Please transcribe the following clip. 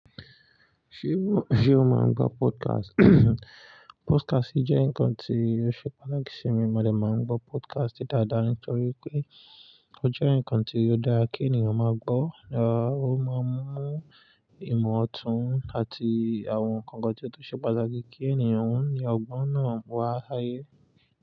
Ṣé o máa ń gbọ́ podcast? Podcast jẹ́ nǹkan tí yóò ṣe pàtàkì sí mi. Mo dà máa ń gbọ́ podcast dáadáa nítorí pé ó jẹ́ nǹkan tí ó dára kí ènìyàn máa gbọ́. Ò ó máa ń mú ìmọ̀ ọ̀tún àti àwọn kankan tí ó tó ṣe pàtàkì kí ènìyàn wù ní ọgbọ́n náà wá láyé.